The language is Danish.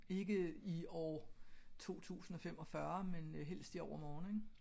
Ikke i år 2045 men helst i overmorgen ik